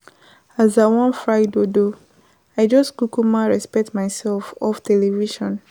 As I wan fry dodo I just kukuma respect myself off television.